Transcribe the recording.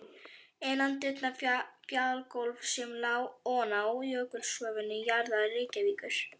Innandyra fjalagólf sem lá oná jökulsköfnum jarðvegi Reykjavíkur.